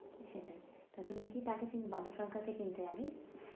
সেটাই। তা তুমি কি নাটকের বাবু সরকার কে চিনতে আগে?